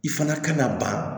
I fana ka na ban